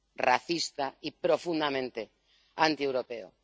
racista y profundamente antieuropeo.